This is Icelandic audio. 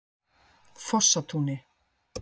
Fossatúni